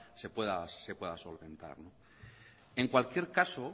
se pueda solventar en cualquier caso